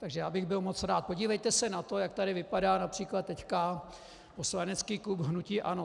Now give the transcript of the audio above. Takže já bych byl moc rád, podívejte se na to, jak tady vypadá například teď poslanecký klub hnutí ANO.